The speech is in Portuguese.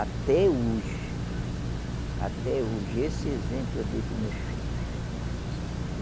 Até hoje, até hoje, esse exemplo eu dei para os meus filhos.